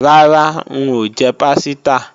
Rárá, n ò jẹ pásítà